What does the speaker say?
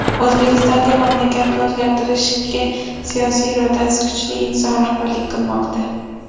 O‘zbekistonga mamlakatni o‘zgartirishga siyosiy irodasi kuchli inson rahbarlik qilmoqda.